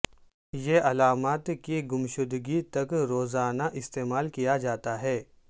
یہ علامات کی گمشدگی تک روزانہ استعمال کیا جاتا ہے